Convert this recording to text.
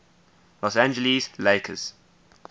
los angeles lakers